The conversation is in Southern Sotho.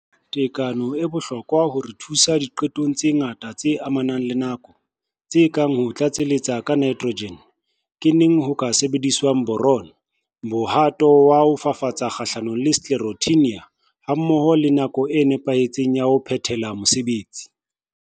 Tekano e bohlokwa ho re thusa diqetong tse ngata tse amanang le nako, tse kang ho tlatseletsa ka Nitrogen N, ke neng ho ka sebediswang Boron B, mohato wa ho fafatsa-fafatsa kgahlanong le sclerotinia hammoho le nako e nepahetseng ya ho phethela mosebetsi.